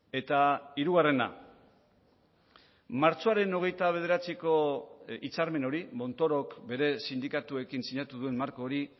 eta hirugarrena martxoaren hogeita bederatziko hitzarmen hori montorok bere sindikatuekin sinatu duen marko hori